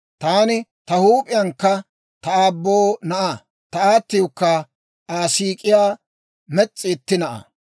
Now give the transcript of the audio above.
Taani ta huup'iyankka ta aabboo na'aa; ta aatiwukka Aa siik'iyaa mes's'i itti na'aa.